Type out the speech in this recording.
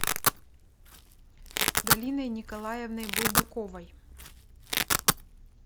галиной николаевной булдаковой